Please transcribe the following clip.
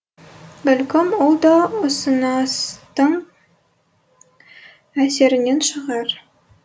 бәлкім ол да ұсыныстың әсерінен шығар